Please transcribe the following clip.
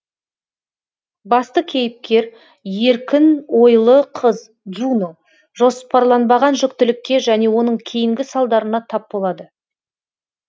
басты кейіпкер еркін ойлы қыз джуно жоспарланбаған жүктілікке және оның кейінгі салдарына тап болады